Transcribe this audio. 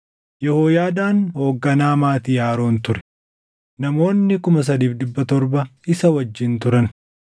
Yehooyaadaan hoogganaa maatii Aroon ture; namoonni 3,700 isa wajjin turan;